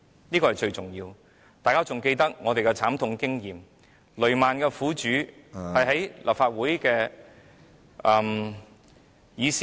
這是最重要的，大家還記得我們的慘痛經驗，雷曼兄弟事件的苦主在立法會的議事廳......